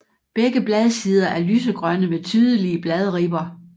Begge bladsider er lysegrønne med tydelige bladribber